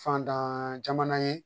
Fantan jamana ye